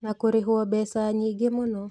Na kũrĩhwo mbeca nyingĩ mũno